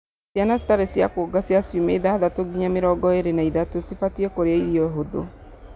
ciana citarĩ cĩa kuonga cia ciumia ithathatu nginya mĩrongo ĩĩrĩ na ithatũ cibatiĩ kũrĩa irio hũthũ